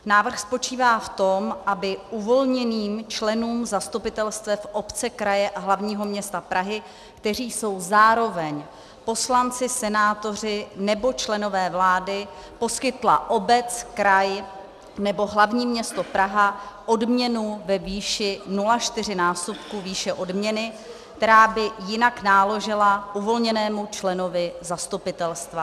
Návrh spočívá v tom, aby uvolněným členům zastupitelstev obce, kraje a hlavního města Prahy, kteří jsou zároveň poslanci, senátoři nebo členové vlády, poskytla obec, kraj nebo hlavní město Praha odměnu ve výši 0,4násobku výše odměny, která by jinak náležela uvolněnému členovi zastupitelstva.